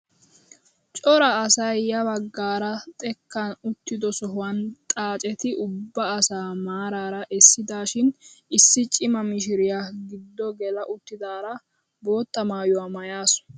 Cora asay ya baggaara xekkan uttido sohuwaan xaacetti ubba asaa maarara essidaashin issi cima mishiriyaa giddo gela uttidaara bootta maayuwaa maayasu!